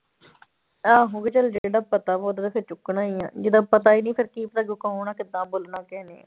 ਆਹੋ ਵੀ ਚੱਲ ਜਿਹੜਾ ਪਤਾ ਵਾ ਉਹ ਤਾਂ ਵੈਸੇ ਚੁੱਕਣਾ ਹੀ ਆਂ ਜਿਹਦਾ ਪਤਾ ਹੀ ਨੀ ਫਿਰ ਕੀ ਪਤਾ ਕੌਣ ਆਂ ਕਿੱਦਾਂ ਬੋਲਣਾ ਕਿਸੇ ਨੇ।